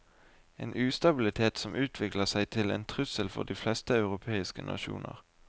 En ustabilitet som utvikler seg til en trussel for de fleste europeiske nasjoner.